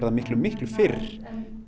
miklu miklu fyrr